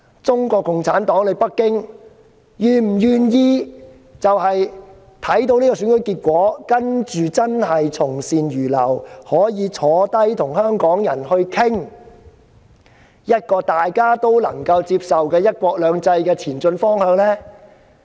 中共和北京是否願意看到這樣的選舉結果，並繼而從善如流，坐下來與香港人討論出一個大家都能夠接受的"一國兩制"前進方向？